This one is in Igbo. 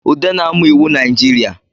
Ude na-amụ iwu Najirịa